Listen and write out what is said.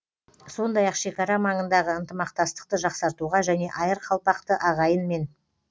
сондай ақ шекара маңындағы ынтымақтастықты жақсартуға және айыр қалпақты ағайынмен